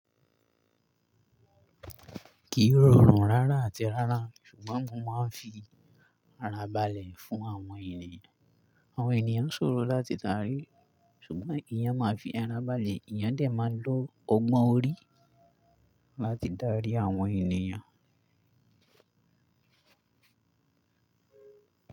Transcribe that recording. Kí i rọrùn rárá àti rárá ṣùgbọ́n mo máa ń fi ara balẹ̀ fún àwọn ènìyàn. Àwọn ènìyàn ṣòro láti darí ṣùgbọ́n èèyàn máa ń fi ara balẹ̀, èèyàn dẹ̀ máa ń lo ọgbọ́n orí láti darí àwọn ènìyàn.